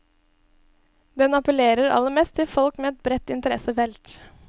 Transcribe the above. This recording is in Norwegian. Den apellerer aller mest til folk med et bredt interessefelt.